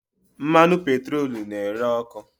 Mmanụ petroolu na-ere ọkụ.